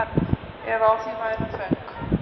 ef á því væru föng